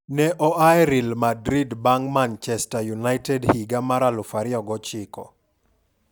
Ne oa Real Madrid bang' Manchester United higa mar 2009.